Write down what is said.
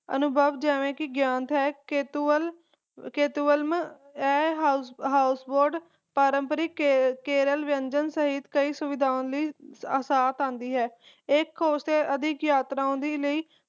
ਅਨੁਭਾਵ ਜਿਵੇ ਕਿ ਗਯਾਤ ਹੈ ਕੇਤੁਵਾਲ ਕੇਤੁਵਾਲੰ ਇਹ houseboat ਪਾਰੰਪਰਿਕ ਕੇਰਲ ਵਿਅੰਜਨ ਸਹਿਤ ਕਈ ਸੁਵਿਧਾਵਾਂ ਦੇ ਨਾਲ ਆਉਂਦੀ ਹੈ ਇਹ ਅਧਿਕ ਯਾਤਰਾਵਾਂ ਦੇ ਲਾਇ